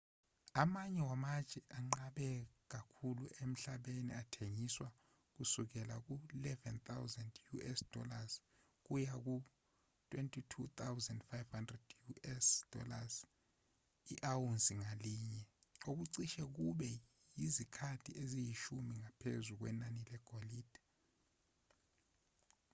amanye wamatshe anqabe kakhulu emhlabeni athengiswa kusukela ku-us$11,000 kuya ku-us$22,500 i-awunsi ngalinye okucishe kube yizikhathi eziyishumi ngaphezu kwenani legolide